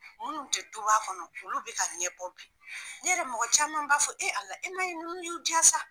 Munnu te duba kɔnɔ, olu be ka ɲɛ bɔ bi ,ne yɛrɛ mɔgɔ caman b'a fɔ e Ala e ma ye nunnu y'u ja sa.